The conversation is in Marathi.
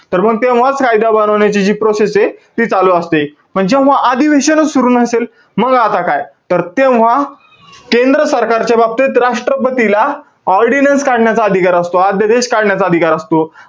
तर मग तेव्हाच, कायदा बनवण्याची जी process हे, ती चालू असते. पण जेव्हा अधिवेशनचं सुरु नसेल, मग आता काय? तर तेव्हा केंद्र सरकारच्या बाबतीत, राष्ट्रपतीला ordinance काढण्याचा अधिकार असतो. आद्यदेश काढण्याचा अधिकार असतो.